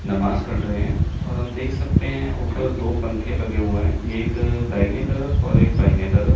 नमाज पढ़ रहे हैं और हम देख सकते हैं ऊपर दो पंखे लगे हुए हैं एक दाहिने तरफ और एक बाइने तरफ।